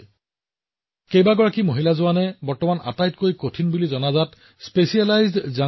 মহিলা সুৰক্ষা কৰ্মীৰ উপস্থিতিয়ে সহজে মানুহৰ ওপৰত বিশেষকৈ মহিলাসকলৰ মাজত এক আস্থা জাগ্ৰত কৰে